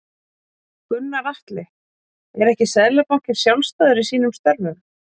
Gunnar Atli: Er ekki Seðlabankinn sjálfstæður í sínum störfum?